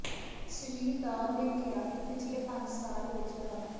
ਸ੍ਰੀ Dao ਨੇ ਕਿਹਾ ਕਿ ਪਿਛਲੇ ਪੰਜ ਸਾਲ ਵਿੱਚ ਡਾ